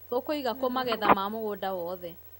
Tũkũiga kũ magetha ma mũgũnda wothe.